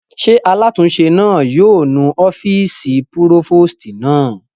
Ṣé alátúnse náà yóò nu ọ́fìsì púrófòstì náà?